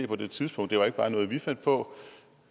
på det tidspunkt det var ikke bare noget vi fandt på